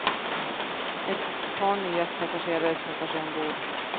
Ett par nya passagerare knuffar sig ombord.